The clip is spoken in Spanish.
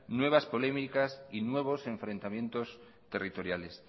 nuevas polémicas y nuevos enfrentamientos territoriales